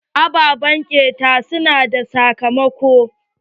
Ababen ƙeta su na da sakamako.